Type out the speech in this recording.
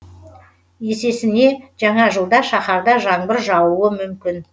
есесіне жаңа жылда шаһарда жаңбыр жаууы мүмкін